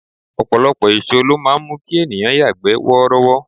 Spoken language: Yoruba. Ọ̀pọ̀lọpọ̀ èso ló máa ń mú kí ènìyàn yagbe worowo.